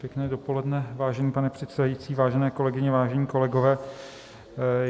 Pěkné dopoledne, vážený pane předsedající, vážené kolegyně, vážení kolegové.